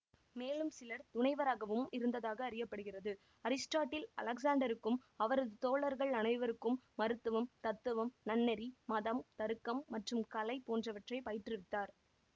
மேலும் சிலர் துணைவராகவும் இருந்ததாக அறிய படுகிறது அரிஸ்டாட்டில் அலெக்சாண்டருக்கும் அவரது தோழர்கள் அனைவருக்கும் மருத்துவம் தத்துவம் நன்னெறி மதம் தருக்கம் மற்றும் கலை போன்றவற்றை பயிற்றுவித்தார்